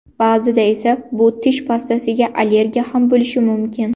Ba’zida esa bu tish pastasiga allergiya ham bo‘lishi mumkin.